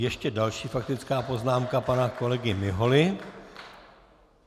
Ještě další faktická poznámka pana kolegy Miholy.